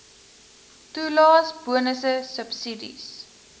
toelaes bonusse subsidies